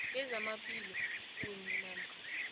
bezamaphilo kunye namkha